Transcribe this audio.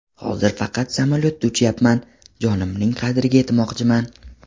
Hozir faqat samolyotda uchyapman, jonimning qadriga yetmoqchiman.